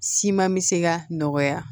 Siman me se ka nɔgɔya